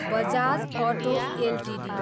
Bajaj auto Ltd